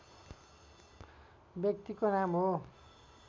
व्यक्तिको नाम हो